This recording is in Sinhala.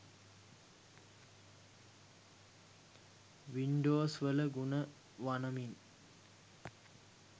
වින්ඩෝස්වල ගුණ වනමින්